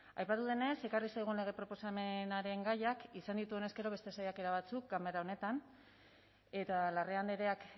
aipatu denez ekarri zaigun lege proposamenaren gaiak izan ditu honezkero beste saiakera batzuk ganbara honetan eta larrea andreak